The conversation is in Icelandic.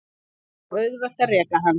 Það er of auðvelt að reka hann.